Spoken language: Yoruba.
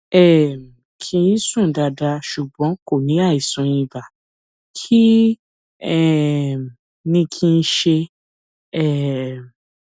um kì í sùn dáadáa ṣùgbọn kò ní àìsàn ibà kí um ni kí n ṣe um